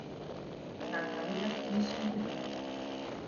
наталья насибуллина